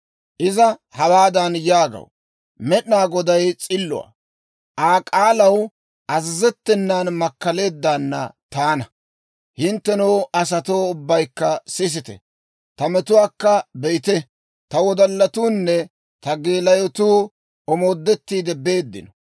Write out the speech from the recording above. Iza hawaadan yaagaw; «Med'inaa Goday s'illuwaa; Aa k'aalaw azazettenan makkaleeddaanna taana. Hinttenoo, asatoo ubbaykka sisite! Ta metuwaakka be'ite. Ta wodallatuunne ta geelayotuu omoodettiide beeddino.